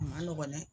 A ma nɔgɔn dɛ